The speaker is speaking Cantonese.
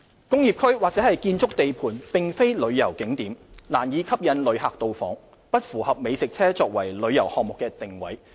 工業區或建築地盤並非旅遊景點，難以吸引旅客到訪，不符合美食車作為旅遊項目的定位。